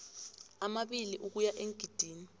amabili ukuya eengidini